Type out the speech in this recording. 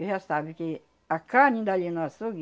Porque já sabe que a carne dali no açougue,